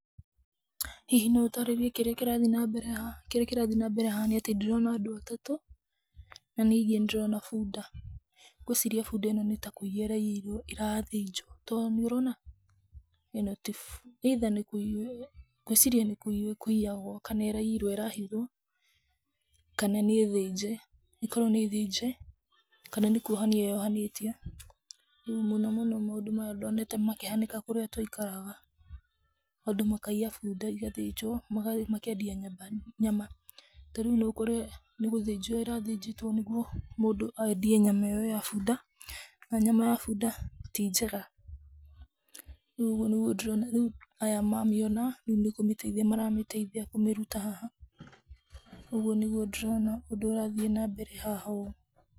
Hihi no ũtaarĩrie nĩkĩĩ kĩrathiĩ na mbere haha? Kĩrĩa kĩrathi nambere haha nĩ atĩ ndĩrona andũ atatũ, na ningĩ nĩ ndĩrona bunda. Ngwĩciria bunda ĩno nĩ ta kũiywo ĩraiyirwo ĩrathĩnjwo, to nĩ ũrona, ĩno ti, either nĩ kũiywo, ngwĩciria nĩ kũiywo ĩkũiyagwo kana nĩ ĩraiyirwo ĩrahithwo, kana nĩ thinje. ĩkorwo nĩ thĩnje kana nĩ kũohanio yohanĩtio. Rĩu mũnomũno maũndũ maya ndoonete makĩhanĩka kũrĩa twaikaraga. Andũ makaiya bunda, igathĩnjwo, makeendia nyama nyama. Ta rĩu no ũkore nĩ gũthĩnjwo ĩrathĩnjĩtwo nĩguo mũndũ aendie nyama ĩyo ya bunda, na nyama ya bunda ti njega. Rĩu ũguo nĩguo ndĩrona, rĩu aya mamĩona, nĩ kũmĩteithia maramĩteithia kũmĩruta haha. Ũguo nĩguo ndĩrona ũndũ ũrathiĩ nambere haha ũũ.